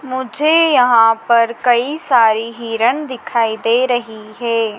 मुझे यहाँ पर कई सारी हिरन दिखाई दे रही है।